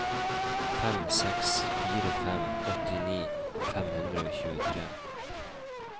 fem seks fire fem åttini fem hundre og tjuetre